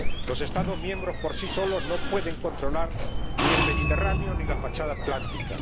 Los Estados miembros por sí solos no pueden controlar ni el Mediterráneo ni la fachada atlántica.